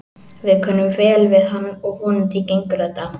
Við kunnum vel við hann og vonandi gengur þetta.